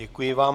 Děkuji vám.